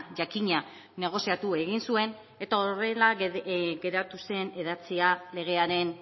jakina negoziatu egin zuen eta horrela geratu zen idatzia legearen